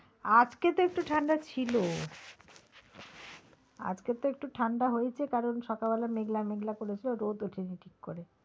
আজকে তো একটু ঠাণ্ডা ছিল আজকে তো একটু ঠাণ্ডা হয়েছে কারন সকালবেলা মেঘলা মেঘলা করেছিল রোদ ওঠেনি ঠিক করে।